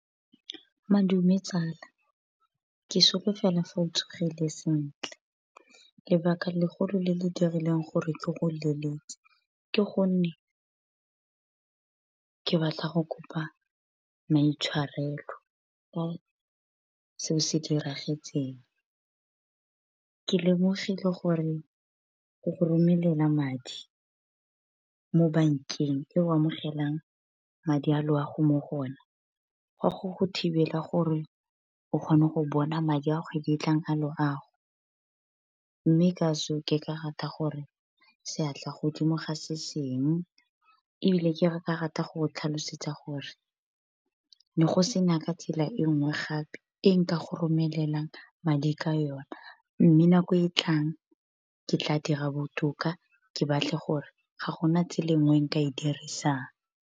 Madume tsala ke sogofela fa o tsogile sentle. Lebaka legolo le le dirileng gore ke go leletse, ke gonne ke batla go kopa maitshwarelo. Ka seo se diragetseng, ke lemogile gore go go romelela madi mo bankeng eo amogelang madi a loago mo go ona, gwa go go thibela gore o kgone go bona madi a kgwedi tlang a loago. Mme ka so ke ka rata gore seatla godimo ga se sengwe. Ebile ke ka rata go tlhalosetsa gore, ne go sena ka tsela e nngwe gape e nka go romelelang madi ka yona. Mme nako e tlang ke tla dira botoka ke batle gore ga gona tsela enngwe nka e dirisang.